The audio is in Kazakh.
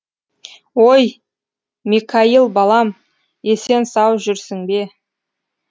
ой мекаил балам есен сау жүрсің бе